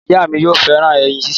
Ìyá mi yóò fẹràn ẹyin ṣíṣe